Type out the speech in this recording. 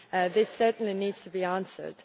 This certainly needs to be answered.